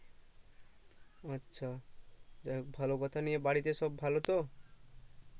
আচ্ছা যাক ভালো কথা এদিকে বাড়িতে সব ভালো তো